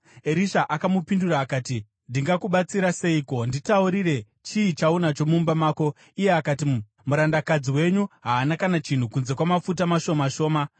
Erisha akamupindura akati, “Ndingakubatsira seiko? Nditaurire, chii chaunacho mumba mako?” Iye akati, “Murandakadzi wenyu haana kana chinhu kunze kwamafuta mashoma shoma.”